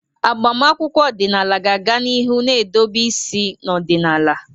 Agbamakwụkwọ ọdịnala ga-aga n'ihu na-edobe isi n'ọdịnala.